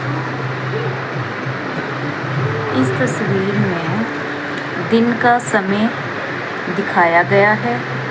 इस तस्वीर में दिन का समय दिखाया गया है।